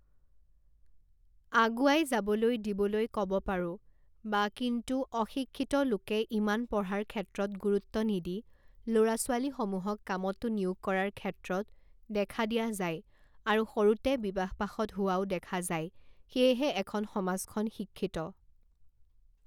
আগুৱাই যাবলৈ দিবলৈ ক'ব পাৰোঁ বা কিন্তু অশিক্ষিত লোকে ইমান পঢ়াৰ ক্ষেত্ৰত গুৰুত্ব নিদি ল'ৰা ছোৱালীসমূহক কামতো নিয়োগ কৰাৰ ক্ষেত্ৰত দেখা দিয়া যায় আৰু সৰুতে বিবাহ পাশত হোৱাও দেখা যায় সেয়েহে এখন সমাজখন শিক্ষিত